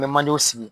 N bɛ manjew sigi